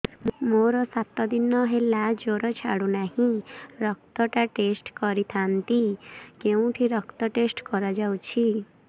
ମୋରୋ ସାତ ଦିନ ହେଲା ଜ୍ଵର ଛାଡୁନାହିଁ ରକ୍ତ ଟା ଟେଷ୍ଟ କରିଥାନ୍ତି କେଉଁଠି ରକ୍ତ ଟେଷ୍ଟ କରା ଯାଉଛି